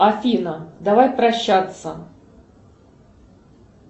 афина давай прощаться